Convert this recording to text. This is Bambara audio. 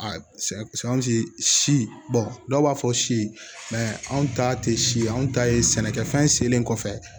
si si dɔw b'a fɔ si anw ta te si ye anw ta ye sɛnɛkɛ fɛn selen kɔfɛ